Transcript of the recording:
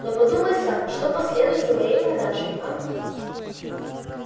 но подумай сам что последует за моей продажей а